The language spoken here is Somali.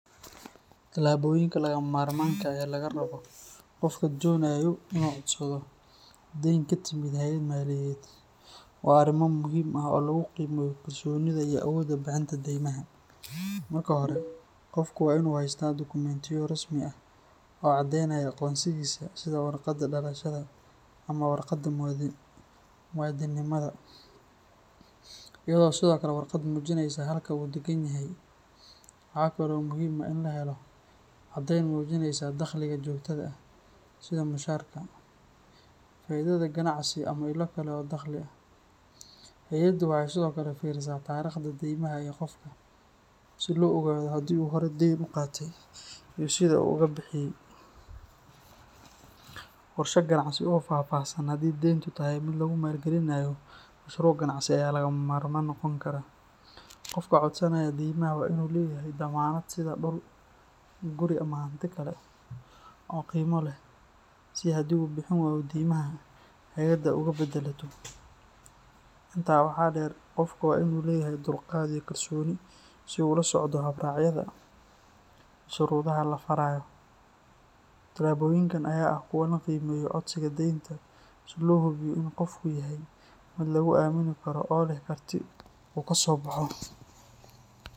Talaboyinka lagama maarmaanka ah ee laga rabo qofka doonaya inuu codsado deyn ka timid hay’ad maaliyadeed waa arrimo muhiim ah oo lagu qiimeeyo kalsoonida iyo awoodda bixinta deymaha. Marka hore, qofku waa inuu haystaa dukumentiyo rasmi ah oo caddaynaya aqoonsigiisa sida warqadda dhalashada ama waraaqda muwaadinimada, iyo sidoo kale warqad muujinaysa halka uu deggan yahay. Waxaa kale oo muhiim ah in la helo caddayn muujinaysa dakhliga joogtada ah sida mushaharka, faa’iidada ganacsi ama ilo kale oo dakhli ah. Hay’addu waxay sidoo kale fiirisaa taariikhda deymaha ee qofka, si loo ogaado haddii uu hore deyn u qaatay iyo sida uu uga bixiyay. Qorshe ganacsi oo faahfaahsan haddii deyntu tahay mid lagu maalgelinayo mashruuc ganacsi ayaa lagama maarmaan noqon kara. Qofka codsanaya deymaha waa inuu leeyahay dammaanad sida dhul, guri ama hanti kale oo qiimo leh si haddii uu bixin waayo deymaha, hay’addu uga baddelato. Intaa waxaa dheer, qofka waa inuu leeyahay dulqaad iyo kalsooni si uu ula socdo habraacyada iyo shuruudaha la farayo. Talaboyinkan ayaa ah kuwa lagu qiimeeyo codsiga deynta, si loo hubiyo in qofku yahay mid lagu aamini karo oo leh karti uu kaga soo baxo.